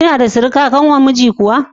Kina da surika ƙanwar miji kuwa?